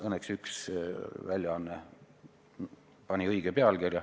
Õnneks üks väljaanne pani õige pealkirja.